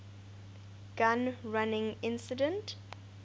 gun running incident